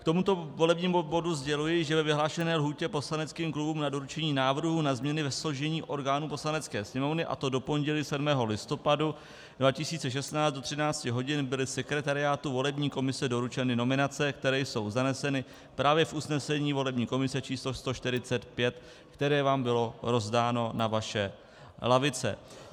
K tomuto volebnímu bodu sděluji, že ve vyhlášené lhůtě poslaneckým klubům na doručení návrhů na změny ve složení orgánů Poslanecké sněmovny, a to do pondělí 7. listopadu 2016 do 13 hodin, byly sekretariátu volební komise doručeny nominace, které jsou zaneseny právě v usnesení volební komise číslo 145, které vám bylo rozdáno na vaše lavice.